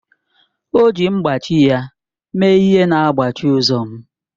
O ji mkpachị ya mee ihe na mgbachi ụzọ m